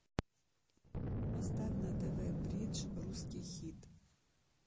поставь на тв бридж русский хит